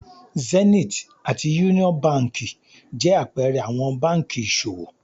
Zenith àti Union Báńkì jẹ àpẹẹrẹ àwọn báńkì ìṣòwò.